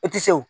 E ti se o